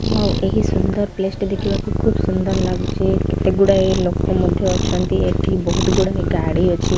ଆଉ ଏହି ସୁନ୍ଦର ପ୍ଲେସ୍ ଟି ଦେଖିବାକୁ ଖୁବ୍ ସୁନ୍ଦର ଲାଗୁଚି କେତେ ଗୁଡ଼ାଏ ଲୋକ ମଧ୍ୟ ଅଛନ୍ତି ଏଠି ବୋହୁତ୍ ଗୁଡ଼ାଏ ଗାଡ଼ି ମଧ୍ୟ ଅଛି।